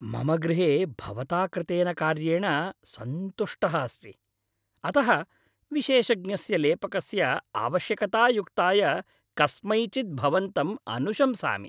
मम गृहे भवता कृतेन कार्येण सन्तुष्टः अस्मि, अतः विशेषज्ञस्य लेपकस्य आवश्यकतायुक्ताय कस्मैचित् भवन्तम् अनुशंसामि।